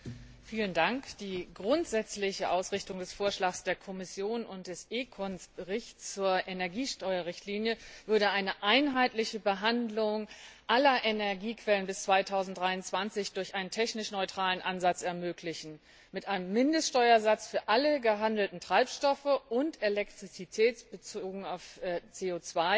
Herr Präsident! Die grundsätzliche Ausrichtung des Vorschlags der Kommission und des ECON Berichts zur Energiesteuerrichtlinie würde eine einheitliche Behandlung aller Energiequellen bis 2023 durch einen technisch neutralen Ansatz ermöglichen, mit einem Mindeststeuersatz für alle gehandelten Treibstoffe sowie elektrizitätsbezogen auf CO